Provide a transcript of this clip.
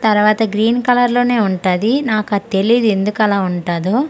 తరువాత green colour లోనే ఉంటాది నాకు అది తెలీదు ఎందుకది అలా ఉంటాదో అలగే.